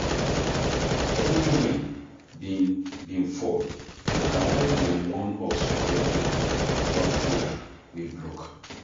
Heavy rain bin bin fall na why dem warn us for radio about road wey block.